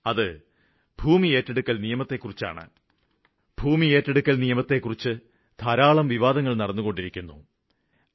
ഓരോ പ്രാവശ്യവും ഭൂമി ഏറ്റെടുക്കല് ബില്ലിനെക്കുറിച്ച് വാദവിവാദങ്ങള് ഉയര്ന്നപ്പോഴെല്ലാം അക്കാര്യത്തില് തുറന്ന മനസ്സാണുള്ളതെന്ന് വ്യക്തമാക്കിയിട്ടുള്ളതാണ്